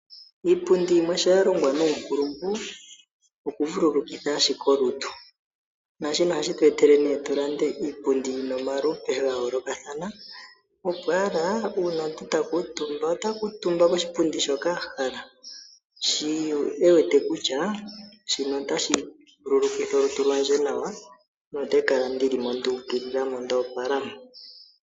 Iipundi yimwe sho ya longwa nuumpulungu, oku vululukitha ashike olutu, naashika ohashi tu etele opo tu lande iipundi yina omalupe ga yoolokathana opwaala uuna omuntu ta kuutumba, ota kuutumba koshipundi shoka a hala ,shi e wete kutya shino otashi vululukitha olutu lwandje nawa no te kala ndi limo nawa nduukilila ndoopala mo.